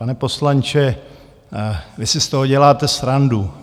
Pane poslanče, vy si z toho děláte srandu.